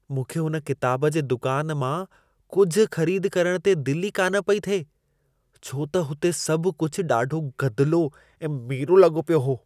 मूंखे हुन किताब जे दुकान मां कुझु ख़रीद करण ते दिलि ई कान पई थिए, छो त हुते सभु कुझु ॾाढो गदिलो ऐं मेरो लॻो पियो हो।